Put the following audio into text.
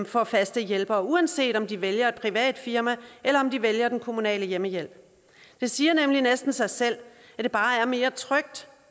får faste hjælpere uanset om de vælger et privat firma eller om de vælger den kommunale hjemmehjælp det siger nemlig næsten sig selv at det bare er mere trygt